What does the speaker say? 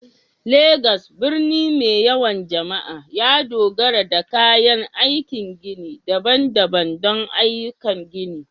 Legas, birni mai yawan jama'a, ya dogara da kayan aikin gini daban-daban don ayyukan gini